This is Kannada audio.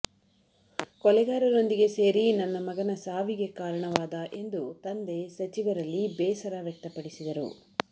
ಕೊಲೆಗಾರೊಂದಿಗೆ ಸೇರಿ ನನ್ನ ಮಗನ ಸಾವಿಗೆ ಕಾರಣವಾದ ಎಂದು ತಂದೆ ಸಚಿವರಲ್ಲಿ ಬೇಸರ ವ್ಯಕ್ತಪಡಿಸಿದರು